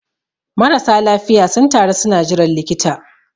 marasa lafiya sun taru suna jiran likita